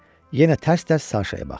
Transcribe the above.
Yenə tərs-tərs Saşaya baxdı.